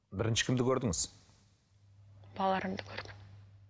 бірінші кімді көрдіңіз балаларымды көрдім